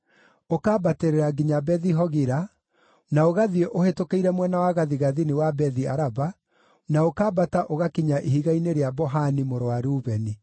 ũkambatĩrĩra nginya Bethi-Hogila, na ũgathiĩ ũhĩtũkĩire mwena wa gathigathini wa Bethi-Araba, na ũkambata ũgakinya Ihiga-inĩ rĩa Bohani mũrũ wa Rubeni.